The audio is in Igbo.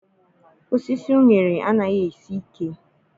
Osisi uṅere anaghị esi ike.